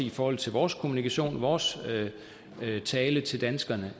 i forhold til vores kommunikation vores tale til danskerne